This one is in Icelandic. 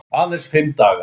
Aðeins fimm dagar.